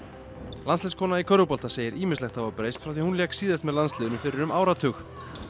landsliðskona í körfubolta segir ýmislegt hafa breyst frá því að hún lék síðast með landsliðinu fyrir um áratug